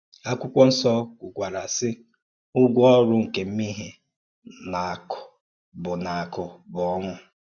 Ákwụ́kwọ́ Nsọ̀ kwùkwàrạ, sì: “Ụ́gwọ̀ ọ́rụ́ nke mmèhè na-akwụ̀ bụ́ na-akwụ̀ bụ́ ọnwụ̀.”